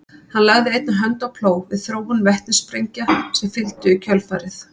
hann lagði einnig hönd á plóg við þróun vetnissprengja sem fylgdu í kjölfarið